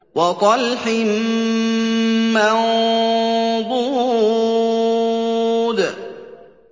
وَطَلْحٍ مَّنضُودٍ